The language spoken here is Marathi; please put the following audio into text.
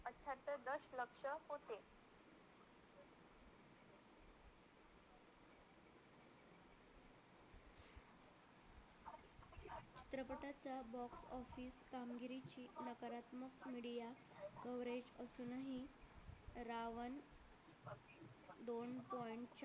media coverage असूनही रावण दोन point